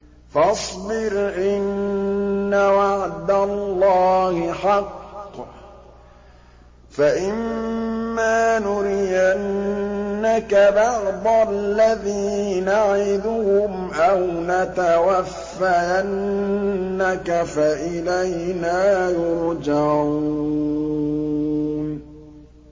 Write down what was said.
فَاصْبِرْ إِنَّ وَعْدَ اللَّهِ حَقٌّ ۚ فَإِمَّا نُرِيَنَّكَ بَعْضَ الَّذِي نَعِدُهُمْ أَوْ نَتَوَفَّيَنَّكَ فَإِلَيْنَا يُرْجَعُونَ